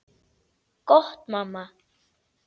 Gott mamma.